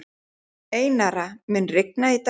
Einara, mun rigna í dag?